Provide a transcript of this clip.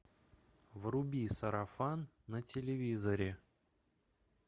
вруби сарафан на телевизоре